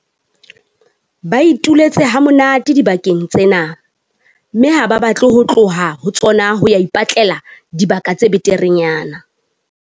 Ba ituletse ha monate dibakeng tsena, mme ha ba batle ho tloha ho tsona ho ya ipatlela dibaka tse beterenyana.